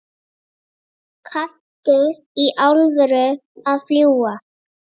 Kanntu í alvöru að fljúga?